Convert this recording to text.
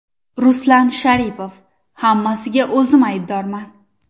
Ruslan Sharipov: Hammasiga o‘zim aybdorman.